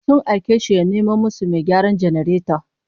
Sun aike shi ya nemo musu mai gyaran janareto